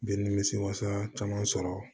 Bɛ nimisi wasa caman sɔrɔ